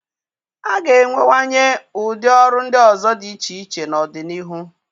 A ga-enwewanye ụdị ọrụ ndị ọzọ dị iche iche n'ọdịnihu.